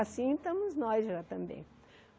Assim estamos nós já também.